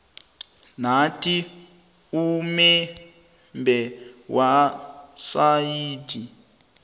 nathi umebhe wesayithi